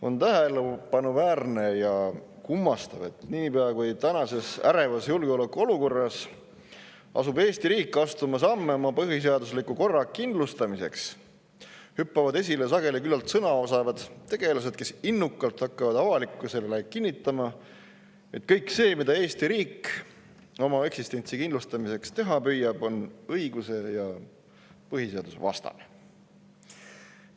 On tähelepanuväärne ja kummastav, et niipea kui tänases ärevas julgeolekuolukorras asub Eesti riik astuma samme oma põhiseadusliku korra kindlustamiseks, hüppavad esile sageli küllalt sõnaosavad tegelased, kes innukalt hakkavad avalikkusele kinnitama, et kõik see, mida Eesti riik oma eksistentsi kindlustamiseks teha püüab, on õiguse- ja põhiseadusvastane.